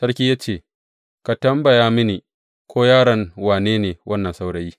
Sarki ya ce, Ka tambaya mini ko yaron wane ne wannan saurayi.